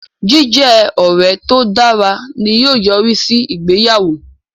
Jíjẹ ọrẹ to dára ni yóò yorisi si ìgbéyàwó